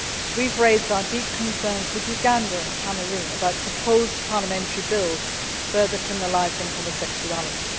We have raised our deep concerns with Uganda and Cameroon about proposed parliamentary bills further criminalising homosexuality.